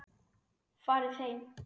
Farið heim!